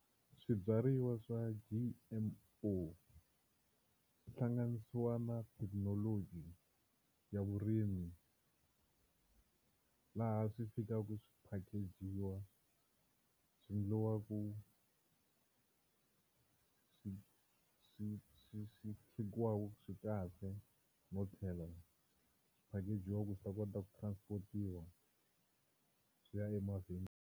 Swibyariwa swa G_M_O swi hlanganisiwa na thekinoloji ya vurimi laha swi fikaka swi packag-iwa swi endliwaku swi swi chekiwaku ku swi kahle no tlhela swi packag-iwa ku swi ta kota ku transport-iwa swi ya emavhengeleni.